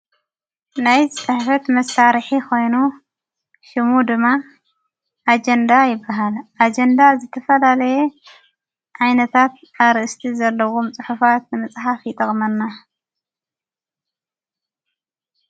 ናይ ዝጽሕፈት መታርሒ ኾይኑ ሽሙ ድማ ኣጀንዳ ይበሃል ኣጀንዳ ዘተፈላለየ ኣይነታት ኣርእስቲ ዘለዎ ምጽሑፍት መጽሓፍ ይጠቕመና።